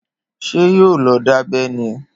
Ṣé yóò lọ dábẹ́ ni?